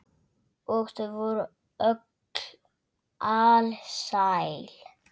Og þau voru öll alsæl.